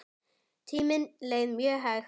Tíminn leið mjög hægt.